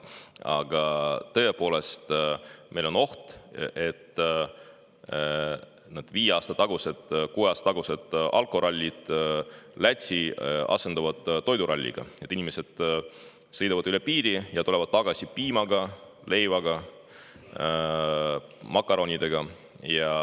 Aga tõepoolest, meil on oht, et viie aasta või kuue aasta tagused alkorallid Lätti asenduvad toiduralliga, kui inimesed sõidavad üle piiri ja tulevad tagasi piimaga, leivaga, makaronidega.